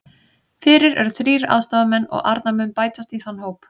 Fyrir eru þrír aðstoðarmenn og Arnar mun bætast í þann hóp.